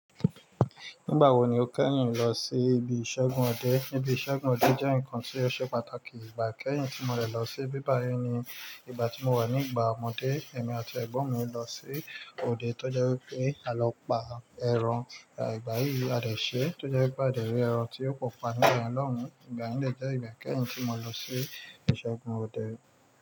Nígbà wo ni o kẹ́yìn lọ sí ibi ìṣẹ́gun òde? Ibi ìṣẹ́gun òde jẹ́ nǹkan tí ó ṣe pàtàkì. Ìgbà ikẹ́yìn tí mo dẹ̀ lọ sí ibi bayii ni ìgbà tí mo wà ní ìgbà ọmọdé. Emi àti ẹ̀gbọ́n mi lọ sí òde tó jẹ́ wí pé à lọ pa ẹran. Ìgbà yìí a dẹ̀ ṣe, tó jẹ́ wí pé a dẹ̀ rí ẹran tí ó pò pa nígba yen lohun. Ìgbà yẹn jẹ́ ìgbà kẹ́yìn tí mo lọ sí ìṣẹ́gun òde.